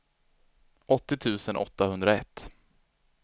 åttio tusen åttahundraett